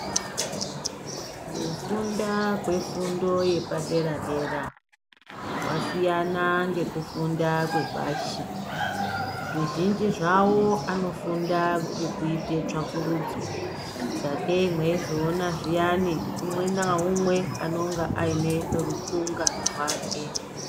Kufunda kwefundo yepadera dera kwasiyana ngekufunda kwepashi. Zvizhinji zvavo anofunda ngekuite tsvakurudzo sakei mweizoona zviyani umwe naumwe anenge aine rukunga rwake.